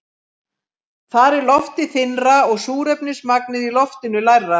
Þar er loftið þynnra og súrefnismagnið í loftinu lægra.